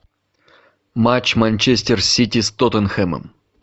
матч манчестер сити с тоттенхэмом